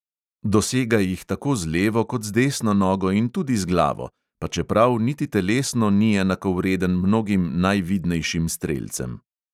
Dosega jih tako z levo kot z desno nogo in tudi z glavo, pa čeprav niti telesno ni enakovreden mnogim najvidnejšim strelcem.